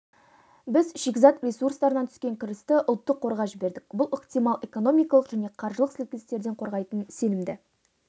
біз шикізат ресурстарынан түскен кірісті ұлттық қорға жібердік бұл ықтимал экономикалық және қаржылық сілкіністерден қорғайтын сенімді